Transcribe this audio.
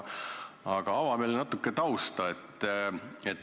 Aga ava meile natuke tausta.